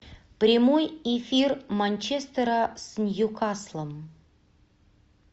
прямой эфир манчестера с ньюкаслом